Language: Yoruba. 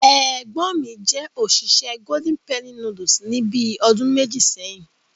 Ẹ̀gbọ́n mi jẹ́ òṣìṣẹ́ Golden Penny Noodles ní bíi ọdún méjì sẹ́yìn.